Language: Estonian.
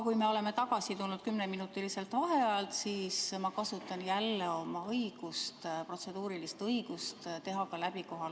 Kui me oleme vaheajalt tagasi tulnud, siis ma kasutan jälle oma protseduurilist õigust paluda teha kohaloleku kontroll.